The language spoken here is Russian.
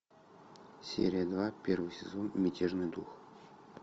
серия два первый сезон мятежный дух